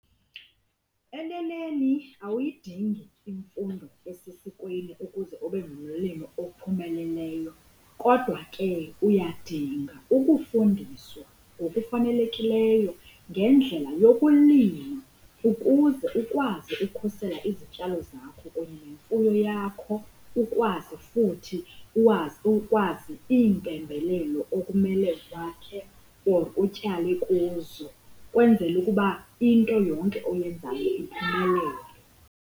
Eneneni awuyidingi imfundo esesikweni ukuze ube ngumlimi ophumeleleyo, kodwa ke uyadinga ukufundiswa ngokufanelekileyo ngendlela yokulima ukuze ukwazi ukhusela izityalo zakho kunye nemfuyo yakho, ukwazi futhi ukwazi iimpembelelo okumele wakhe or utyale kuzo kwenzele ukuba into yonke oyenzayo iphumelele.